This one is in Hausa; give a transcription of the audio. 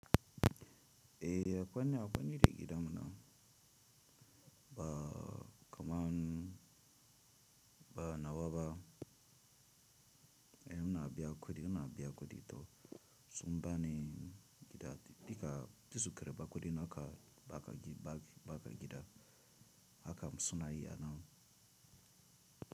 Eh akwani akwani da gida muna ba kaman ba nawaba en una biya kudi una biya kudi to sumba ni gida dika tisukara ba kudi naka baka gi baka gida akam suna yi ana.